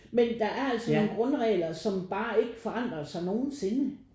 Men der er altså nogen grundregler som bare ikke forandrer sig nogensinde